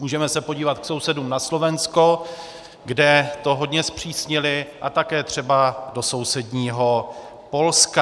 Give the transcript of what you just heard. Můžeme se podívat k sousedům na Slovensko, kde to hodně zpřísnili, a také třeba do sousedního Polska.